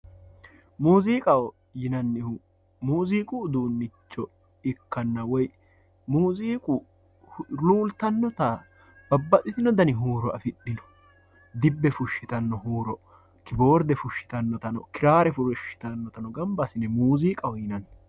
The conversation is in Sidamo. muuziiqaho yinannihu muuziiqu uduunnicho ikkanna woyi muuziiqu looltannota babbaxitino dani huuro afidhino dibbe fushshitanno huuro, kiboordefushshitannotano kiraare fushshitannotano gamga assine muuziiqaho yinanni.